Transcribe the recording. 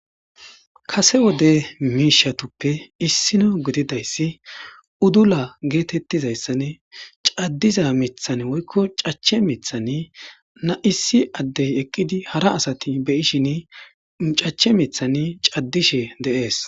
Kase wode miishatuppe issino gididayssi udula geetettizayssane caddiza mithan woykko cache mithan na'isi addey eqqidi hara asati beyishin cache mithan caddishe deees.